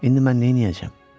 İndi mən neyləyəcəm?